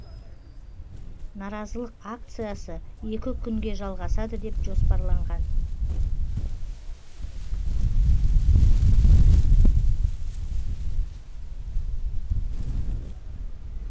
наразылық акциясы екі күнге жалғасады деп жоспарланған